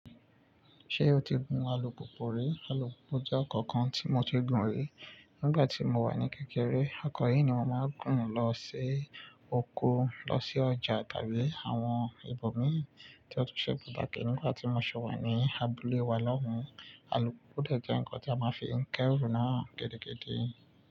Ṣé o ti gun alùpùpù rí? Alùpùpù jẹ́ nǹkan kan tí mo ti gun rí nígbà tí mo wà ní kékeré. Nǹkan yìí ni mo máa ń gùn ún lọ sí oko, lọ sí ọjà tàbí àwọn ibòmín tí ó tún ṣe bàtàkè nígbà tí mo ṣi wa ní abúlé wa lọ́hùn. Alùpùpù dẹ jẹ́ ǹkan tí a máa ń fi ń kẹ́rù náà gidi-gidi.